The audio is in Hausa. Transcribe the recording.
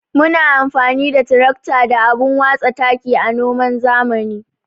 Muna amfani da tirakta da abun watsa taki a noman zamani.